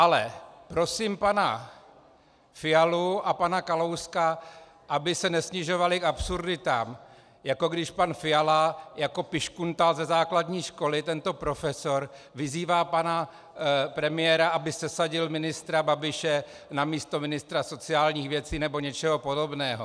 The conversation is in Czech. Ale prosím pana Fialu a pana Kalouska, aby se nesnižovali k absurditám, jako když pan Fiala jako piškuntál ze základní školy, tento profesor, vyzývá pana premiéra, aby sesadil ministra Babiše na místo ministra sociálních věcí nebo něčeho podobného.